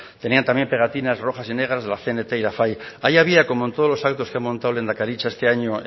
tenía también pegatinas rojas y negras de la cnt y la fai ahí había como en todos los actos que ha montado lehendakaritza este año